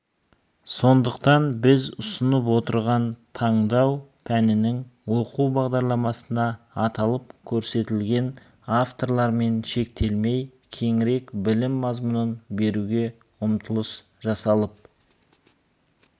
сондықтан біз ұсынып отырған таңдау пәнінің оқу бағдарламасында аталып көрсетілген авторлармен шектелмей кеңірек білім мазмұнын беруге ұмтылыс жасалып